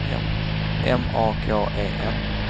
M A K E N